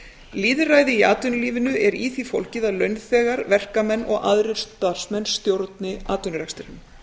lýðræði í atvinnulífinu er í því fólgið að launþegar verkamenn og aðrir starfsmenn stjórna atvinnurekstrinum